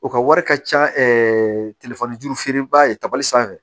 O ka wari ka ca telefɔni juru feere ba ye tabali sanfɛ